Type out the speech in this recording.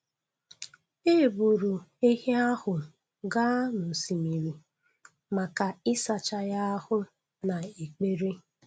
E buru ehi ahụ gaa n’osimiri maka ịsacha ya ahụ na ekpere.